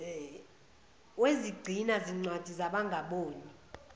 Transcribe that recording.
wezigcina zincwadi zabangaboni